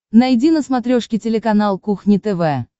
найди на смотрешке телеканал кухня тв